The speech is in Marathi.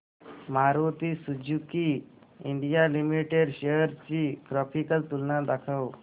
Maruti Suzuki India Limited shares ची ग्राफिकल तुलना दाखव